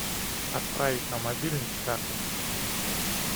отправить на мобильный с карты